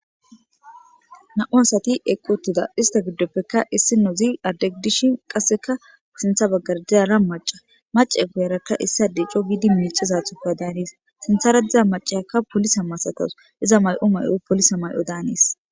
Na,u asati eqqootida ista giddoppekka issi noozi addegdishin qasseka sintha baggardirara maca mace guyarakka issade ico giidi miicizathuka daaniis sintha radiza macayakka polisa masatos iza may7o may7o polisa may7o daanis